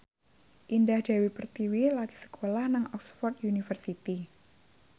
Indah Dewi Pertiwi lagi sekolah nang Oxford university